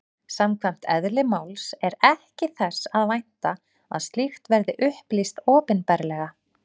Samkvæmt eðli máls er ekki þess að vænta að slíkt verði upplýst opinberlega.